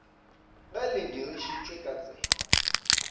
ge le dirišitšwe ka tsela